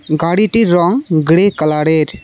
গাড়িটির রং গ্রে কালারের।